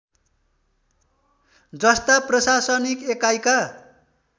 जस्ता प्रशासनिक एकाइका